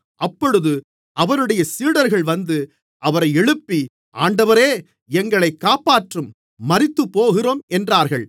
அப்பொழுது அவருடைய சீடர்கள் வந்து அவரை எழுப்பி ஆண்டவரே எங்களைக் காப்பாற்றும் மரித்துப்போகிறோம் என்றார்கள்